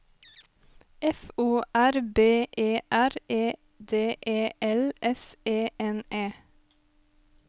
F O R B E R E D E L S E N E